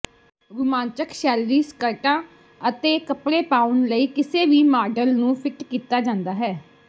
ਰੁਮਾਂਚਕ ਸ਼ੈਲੀ ਸਕਰਟਾਂ ਅਤੇ ਕੱਪੜੇ ਪਾਉਣ ਲਈ ਕਿਸੇ ਵੀ ਮਾਡਲ ਨੂੰ ਫਿੱਟ ਕੀਤਾ ਜਾਂਦਾ ਹੈ